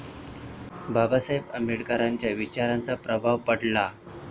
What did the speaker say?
बाबासाहेब आंबेडकरांच्या विचारांचा प्रभाव पडला.